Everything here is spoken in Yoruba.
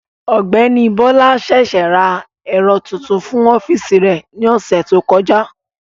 Ọ̀gbẹ́ni Bọ́lá ṣèṣé ra ẹ̀rọ tuntun fún ọ́fíìsì rẹ̀ ní ọ̀sẹ̀ tó kọjá